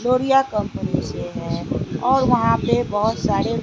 लोरिया company से है और वहां पे बहोत सारे--